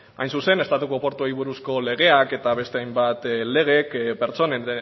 hain zuzen estatuko portuen buruzko legeak eta beste hainbat legek pertsonen